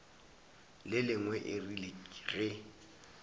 le lengwe e rile ge